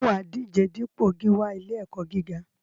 Ṣé wà á díje dupò gíwá ilé-ẹ̀kọ́ gíga?